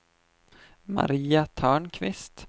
Maria Törnqvist